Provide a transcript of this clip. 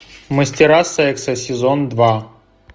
мастера секса сезон два